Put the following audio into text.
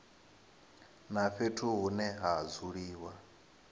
na fhethu hune ha dzuliwa